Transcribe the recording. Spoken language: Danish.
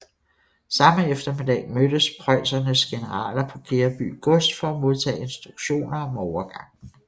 Samme eftermiddag mødtes preussernes generaler på Gereby gods for at modtage instruktioner om overgangen